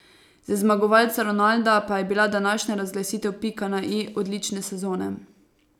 Za zmagovalca Ronalda pa je bila današnja razglasitev pika na i odlične sezone.